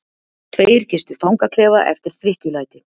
Tveir gistu fangaklefa eftir drykkjulæti